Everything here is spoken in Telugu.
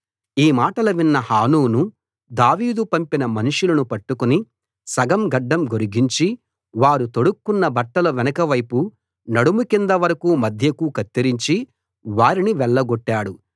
ఈ మాటలు విన్న హానూను దావీదు పంపిన మనుషులను పట్టుకుని సగం గడ్డం గొరిగించి వారు తొడుక్కొన్న బట్టలు వెనక వైపు నడుము కింద వరకూ మధ్యకు కత్తిరించి వారిని వెళ్లగొట్టాడు